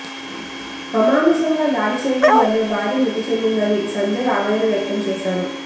అమానుషంగా దాడి చేయడం వల్లే భార్య మృతి చెందిందని సంజయ్ ఆవేదన వ్యక్తం చేశారు